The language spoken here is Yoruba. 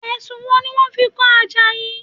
Ẹ̀sùn wo ni wọ́n fi kan Àjàyí?